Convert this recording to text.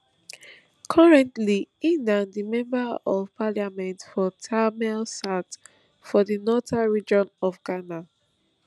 currently im na di member of parliament for tamale south for di northern region of ghana